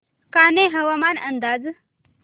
कान्हे हवामान अंदाज